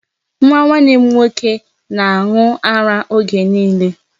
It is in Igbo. Nwa nwanne m nwoke na-aṅụ ara oge niile.